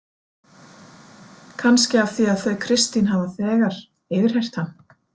Kannski af því að þau Kristín hafa þegar yfirheyrt hann.